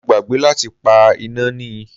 Mo gbàgbé láti pa iná ni.